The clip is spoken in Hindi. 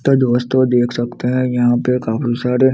तो दोस्तों देख सकते हैं यहाँ पे काफी सारे --